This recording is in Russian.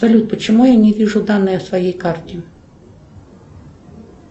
салют почему я не вижу данные о своей карте